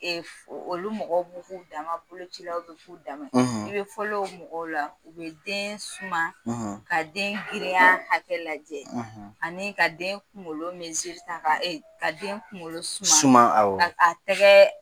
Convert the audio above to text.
olu mɔgɔw b'u k'u dan ma bolocilaw b'u k'u dan ma i bɛ fɔlɔ u mɔgɔw la bɛ den suma ka den girinya hakɛ lajɛ ani ka den kunkolo ta ka den kunkolo suma awɔ a tɛgɛ